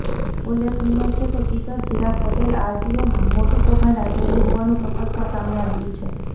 ઉલ્લેખનિય છે કે ચિટર ચિરાગ પટેલ આરટીઓમાં મોટુ કૌભાડ આચર્યુ હોવાનુ તપાસમાં સામે આવ્યુ છે